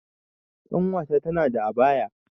Ƙanwata tana da abaya